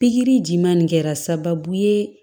Pikiri ji ma nin kɛra sababu ye